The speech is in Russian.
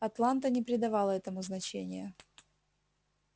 атланта не придавала этому значения